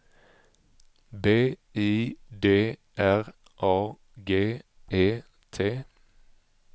B I D R A G E T